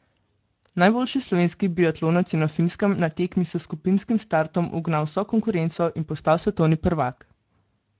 Najboljši slovenski biatlonec je na Finskem na tekmi s skupinskim startom ugnal vso konkurenco in postal svetovni prvak!